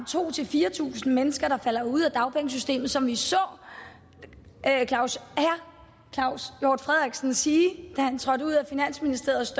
tusind fire tusind mennesker der falder ud af dagpengesystemet som vi så herre claus hjort frederiksen sige da han trådte ud af finansministeriets